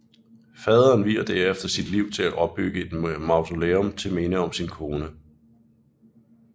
Faderen vier derefter sit liv til at opbygge et mausoleum til minde om sin kone